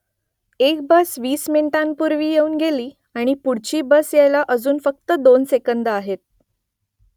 एक बस वीस मिनिटांपूर्वी येऊन गेली आणि पुढची बस यायला अजून फक्त दोन सेकंदं आहेत